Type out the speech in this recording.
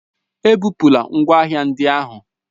Ebupula ngwa ahịa ndị ahụ?